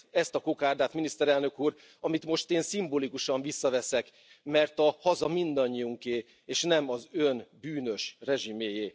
Ezt, ezt a kokárdát, Miniszterelnök Úr, amit most én szimbolikusan visszaveszek, mert a haza mindannyiunké, és nem az ön bűnös rezsimjéé.